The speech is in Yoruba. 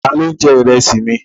Ta ló ń jẹ Ìrẹ́sì mi?